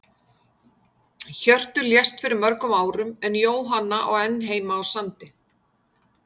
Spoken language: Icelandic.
Hjörtur lést fyrir mörgum árum en Jóhanna á enn heima á Sandi.